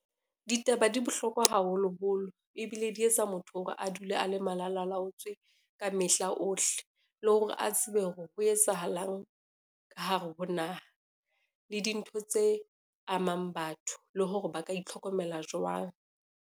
Ditaba di bohlokwa haholoholo, ebile di etsa motho hore a dule a le malalalaotswe ka mehla ohle, le hore a tsebe hore ho etsahalang ka hare ho naha le dintho tse amang batho, le hore ba ka itlhokomela jwang.